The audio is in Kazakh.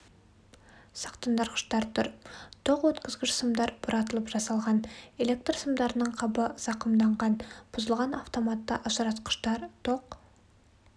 сақтандырғыштар тұр тоқ өткізгіш сымдар бұратылып жасалған электр сымдарының қабы зақымданған бұзылған автоматты ажыратқыштар тоқ